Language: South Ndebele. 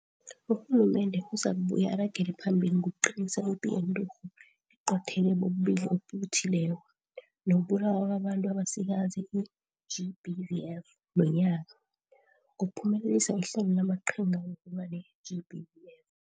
Urhulumende uzakubuye aragele phambili ngokuqinisa ipi yeNturhu Eqothele bobuLili obuThileko nokuBulawa kwabaNtu abaSikazi, i-GBVF, nonyaka, ngokuphumelelisa iHlelo lamaQhinga wokulwa neGBVF.